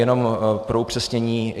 Jenom pro upřesnění.